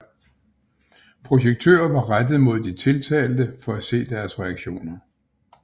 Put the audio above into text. Projektører var rettet mod de tiltalte for at se deres reaktioner